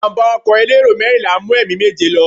Ìjàmbá ọkọ̀ elérò mẹ́rìnlá mú ẹ̀mí méje lọ.